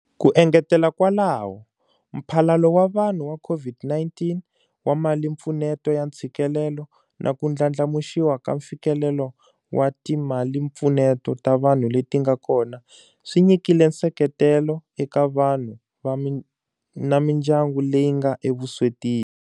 Ku engetela kwalaho, Mphalalo wa Vanhu wa COVID-19 wa Malimpfuneto ya Ntshikelelo na ku ndlandlamuxiwa ka mfikelelo wa timalimpfuneto ta vanhu leti nga kona swi nyikile nseketelo eka vanhu na mindyangu leyi nga evuswetini.